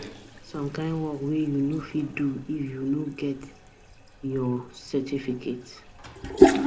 E get some kind work wey you no fit do if you no get your get your certificate.